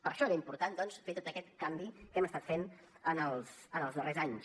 per això era important doncs fer tot aquest canvi que hem estat fent en els darrers anys